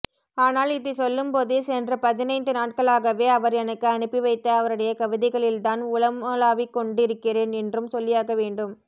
ஆனால் இதைச் சொல்லும்போதே சென்ற பதினைந்து நாட்களகவே அவர் எனக்கு அனுப்பிவைத்த அவருடைய கவிதைகளில்தான் உளமுலாவிக்கொண்டிருக்கிறேன் என்றும் சொல்லியாகவேண்டும்